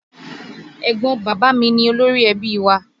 Ẹ̀gbọ́n bàbá mi ni Olórí-ẹbí wa